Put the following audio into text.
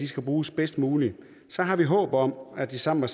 skal bruges bedst muligt har vi håb om at de sammen